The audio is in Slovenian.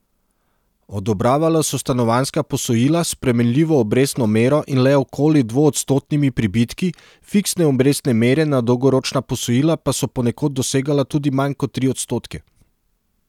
Odobravala so stanovanjska posojila s spremenljivo obrestno mero in le okoli dvoodstotnimi pribitki, fiksne obrestne mere na dolgoročna posojila pa so ponekod dosegala tudi manj kot tri odstotke.